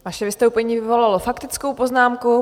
Vaše vystoupení vyvolalo faktickou poznámku.